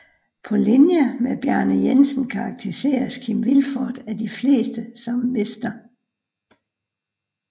På linje med Bjarne Jensen karakteriseres Kim Vilfort af de fleste som Mr